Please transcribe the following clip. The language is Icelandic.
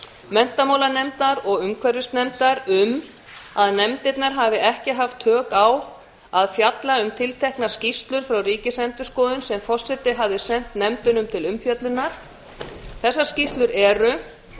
menntamálanefndar og umhverfisnefndar um að nefndirnar hafi ekki haft tök á að fjalla um tilteknar skýrslur frá ríkisendurskoðun sem forseti hafði sent nefndunum til umfjöllunar þessar skýrslur eru fyrsta